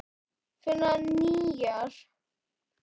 Finna nýjar.